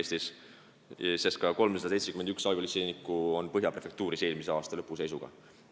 Põhja prefektuuris oli eelmise aasta lõpu seisuga ka 371 abipolitseinikku.